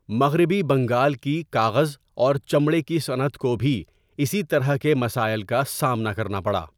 مغربی بنگال کی کاغذ اور چمڑے کی صنعت کو بھی اسی طرح کے مسائل کا سامنا کرنا پڑا۔